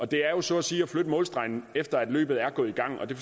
det er jo så at sige at flytte målstregen efter at løbet er gået i gang det